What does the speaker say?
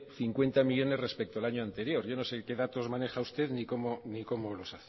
cincuenta millónes respecto al año anterior yo no sé que datos maneja usted ni cómo los